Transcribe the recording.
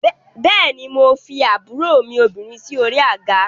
Bẹ́ẹ̀ ni, mo fi àbúrò mi obìnrin sí orí àga